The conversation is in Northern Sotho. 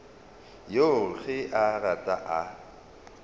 yoo ge a rata a